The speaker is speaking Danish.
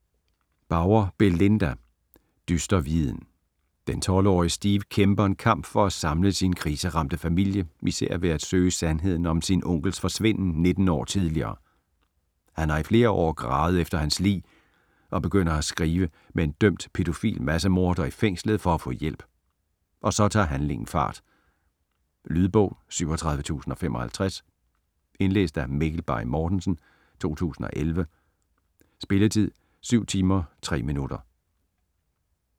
Bauer, Belinda: Dyster viden Den 12-årige Steve kæmper en kamp for at samle sin kriseramte familie især ved at søge sandheden om sin onkels forsvinden 19 år tidligere. Han har i flere år gravet efter hans lig og begynder at skrive med en dømt, pædofil massemorder i fængslet for at få hjælp, og så tager handlingen fart. Lydbog 37055 Indlæst af Mikkel Bay Mortensen, 2011. Spilletid: 7 timer, 3 minutter.